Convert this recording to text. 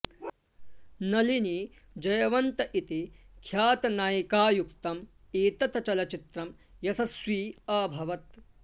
नलिनी जयवन्त इति ख्यातनायिकायुक्तम् एतत् चलच्चित्रं यशस्वि अभवत्